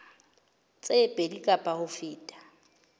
tse pedi kapa ho feta